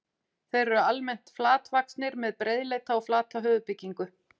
Þeir eru almennt flatvaxnir, með breiðleita og flata höfuðbyggingu.